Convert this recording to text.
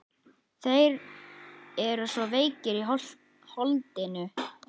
Þeir eru svo veikir í holdinu.